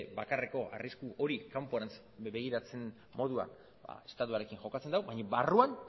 bakarreko arrisku hori kanporantz begirantz moduan estatuarekin jokatzen du baina barruan